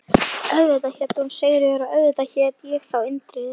Auðvitað hét hún Sigríður og auðvitað hét ég þá Indriði.